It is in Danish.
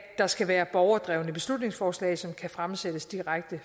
der skal være borgerdrevne beslutningsforslag som kan fremsættes direkte